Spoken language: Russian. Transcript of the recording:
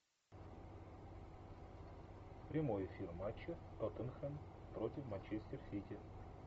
прямой эфир матча тоттенхэм против манчестер сити